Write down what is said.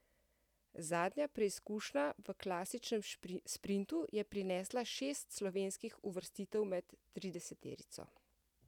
Zadnja preizkušnja v klasičnem sprintu je prinesla šest slovenskih uvrstitev med trideseterico.